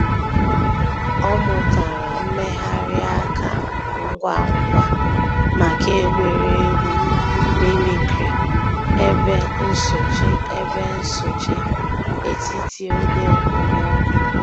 Ọ̀ mùtárà mmèghàrì àkà ngwá ngwá mǎká ègwè́régwụ̀ mimicry èbè nsòché èbè nsòché ètítì ògè òkpòmọ́kụ̀.